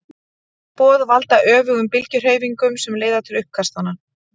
þessi boð valda öfugum bylgjuhreyfingunum sem leiða til uppkastanna